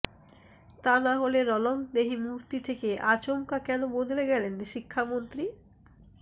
তা না হলে রণংদেহী মূর্তি থেকে আচমকা কেন বদলে গেলেন শিক্ষামন্ত্রী